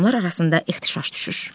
Adamlar arasında ehtişaş düşür.